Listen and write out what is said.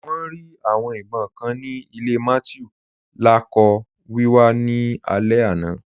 Wọn rí awọn ìbọǹ kàn ni ilẹ̀ Mathew lakọọ̀ wíwà ni alẹ̀ àná.